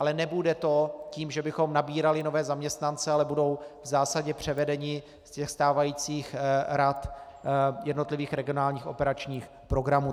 Ale nebude to tím, že bychom nabírali nové zaměstnance, ale budou v zásadě převedeni z těch stávajících rad jednotlivých regionálních operačních programů.